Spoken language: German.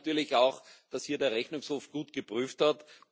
Wir sehen natürlich auch, dass hier der Rechnungshof gut geprüft hat.